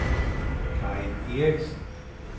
Karin Eriksen